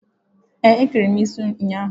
Ee, ékẹrè mụ isi m ụnyahụ.